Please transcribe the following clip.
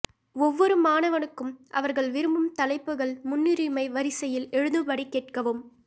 ஒவ்வொரு மாணவனுக்கும் அவர்கள் விரும்பும் தலைப்புகள் முன்னுரிமை வரிசையில் எழுதும்படி கேட்கவும்